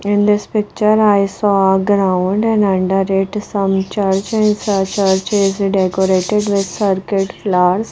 In this picture I saw a ground and under it some church and church is decorated with circuit flowers.